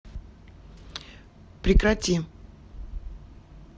прекрати